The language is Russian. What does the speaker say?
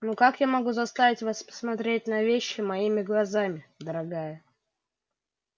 ну как могу я заставить вас посмотреть на вещи моими глазами дорогая